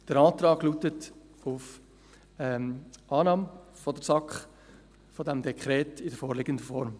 Der Antrag der SAK lautet auf Annahme dieses Dekrets in der vorliegenden Form.